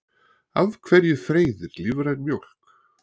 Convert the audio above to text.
af hverju freyðir lífræn mjólk